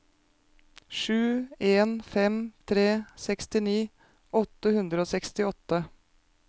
sju en fem tre sekstini åtte hundre og sekstiåtte